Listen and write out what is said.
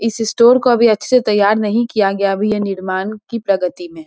इस स्टोर को अभी अच्छे तैयार नहीं किया गया अभी यह निर्माण की प्रगति में है |